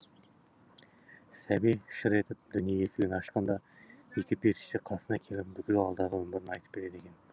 сәби шыр етіп дүние есігін ашқанда екі періште қасына келіп бүкіл алдағы өмірін айтып береді екен